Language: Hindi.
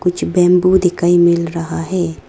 कुछ बैंबू दिखाई मिल रहा है।